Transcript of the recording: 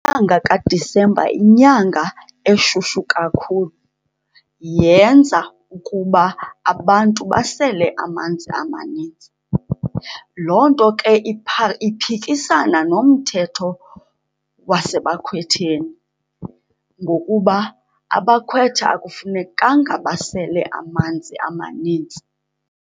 Inyanga kaDisemba yinyanga eshushu kakhulu, yenza ukuba abantu basele amanzi amaninzi. Loo nto ke iphikisana nomthetho wasebakhwetheni ngokuba abakhwetha akufunekanga basele amanzi amaninzi.